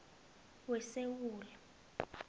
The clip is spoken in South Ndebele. wesewula